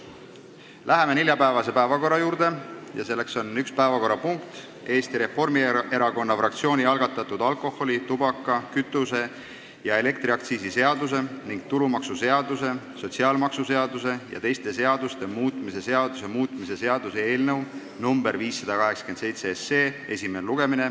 Läheme neljapäevase päevakorra juurde, kus on üks päevakorrapunkt: Eesti Reformierakonna fraktsiooni algatatud alkoholi-, tubaka-, kütuse- ja elektriaktsiisi seaduse ning tulumaksuseaduse, sotsiaalmaksuseaduse ja teiste seaduste muutmise seaduse muutmise seaduse eelnõu 587 esimene lugemine.